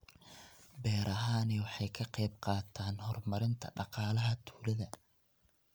Beerahani waxa ay ka qayb qaataan horumarinta dhaqaalaha tuulada.